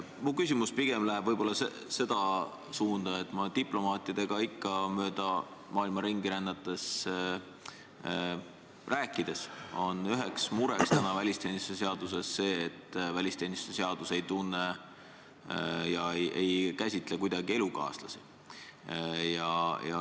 Minu küsimus läheb pigem seda suunda, et mööda maailma ringi rännates ja diplomaatidega rääkides on selgunud, et ikka on üheks mureks see, et välisteenistuse seadus ei tunne ega käsitle kuidagi elukaaslasi.